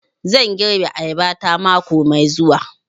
Zan girbi ayaba ta mako mai zuwa